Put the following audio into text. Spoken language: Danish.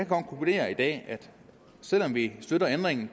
konkludere i dag at selv om vi støtter ændringen